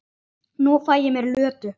Nú fæ ég mér Lödu.